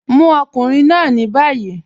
Mu ọkùnrin náà ni bayí.